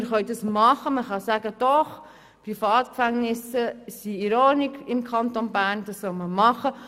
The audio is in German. Man kann das machen und sagen, Privatgefängnisse im Kanton Bern seien in Ordnung und das solle man machen.